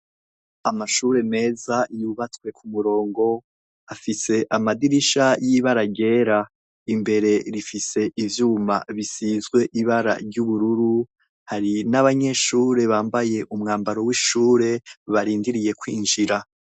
Amashure meza yubatswe kumurongo, afise amadirisha yibara ryera. Imbere rifise ivyuma bisize ibara ry'ubururu hari nabanyeshure bambaye umwambaro w'ishure barindiriye kwinjira.